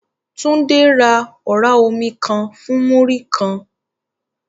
Tunde ra ọ̀rá omi kan fún Múrí-kan